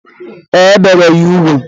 E, e bere ya ugwu